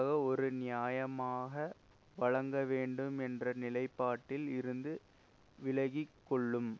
ஒரு நியாயமாக வழங்க வேண்டும் என்ற நிலைப்பாட்டில் இருந்து விளகிக்கொள்ளும்